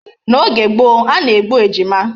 N'oge gboo a na-egbu ejima.